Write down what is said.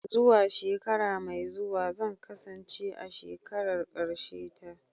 Zuwa shekara mai zuwa zan kasance a shekarar karshe ta.